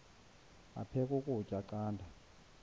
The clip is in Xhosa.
aphek ukutya canda